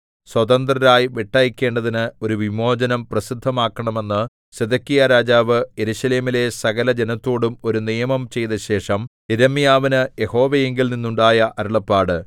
സ്വതന്ത്രരായി വിട്ടയയ്ക്കേണ്ടതിന് ഒരു വിമോചനം പ്രസിദ്ധമാക്കണമെന്ന് സിദെക്കീയാരാജാവ് യെരൂശലേമിലെ സകലജനത്തോടും ഒരു നിയമം ചെയ്തശേഷം യിരെമ്യാവിന് യഹോവയിങ്കൽ നിന്നുണ്ടായ അരുളപ്പാട്